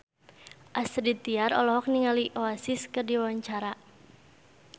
Astrid Tiar olohok ningali Oasis keur diwawancara